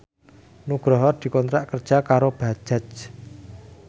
Nugroho dikontrak kerja karo Bajaj